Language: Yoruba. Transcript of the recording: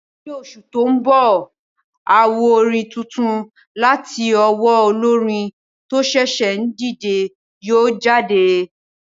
Ni oṣù tó mbọ̀, àwo orin tuntun láti owó olórin tó ṣẹ̀ṣẹ̀ ń dìde yóò jáde